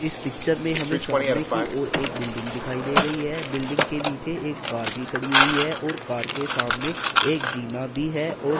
इस पिक्चर में हमें सामने की ओर एक बिल्डिंग दिखाई दे रही है बिल्डिंग के नीचे एक कार भी खड़ी हुई है और कार के सामने एक जीना भी है और--